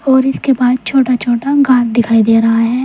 और इसके बाद छोटा छोटा घर दिखाई दे रहा है।